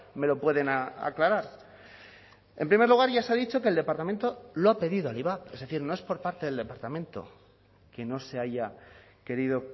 me lo pueden aclarar en primer lugar ya se ha dicho que el departamento lo ha pedido el ivap es decir no es por parte del departamento que no se haya querido